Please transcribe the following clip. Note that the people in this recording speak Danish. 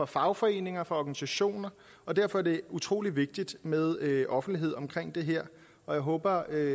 fagforeninger og organisationer og derfor er det utrolig vigtigt med offentlighed omkring det her jeg håber at